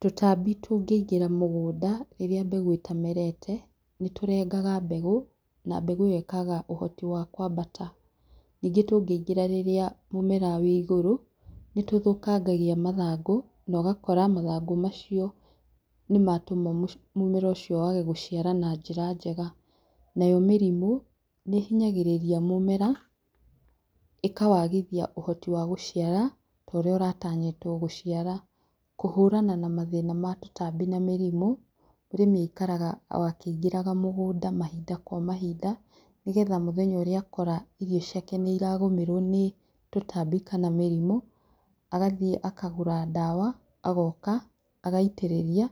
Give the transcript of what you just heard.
Tũtambi tũngĩigĩra mũgũnda rĩrĩa mbegũ ĩtamerete, nĩ tũrengaga mbegũ, na mbegũ ĩyo ĩkaaga ũhoti wa kũambata. Ningĩ tũngĩingĩra rĩrĩa mũmera wĩ igũrũ, nĩ tũthũkangagia mathangũ, na ũgakora mathangũ macio nĩ matũma mũmera ũcio wage gũciara na njĩra njega. Nayo mĩrimũ, nĩ ĩhinyagĩrĩria mũmera, ĩkawagithia ũhoti wa gũciara, ta ũrĩa ũratanyitwo gũciara. Kũhũrana na mathĩna ma tũtambi na mĩrimũ, mũrĩmi aikaraga o akĩingĩraga mũgũnda mahinda kwa mahinda, nĩgetha mũthenya ũrĩa akora irio ciake nĩ iragũmerwo nĩ tũtambi kana mĩrimũ, agathiĩ akagũra ndawa, agoka, agaitĩrĩria,